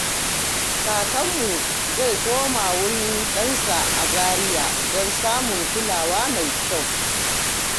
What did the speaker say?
Kakanmu zai koma wurin ɗansa a Zaria don samun kulawa mai kyau.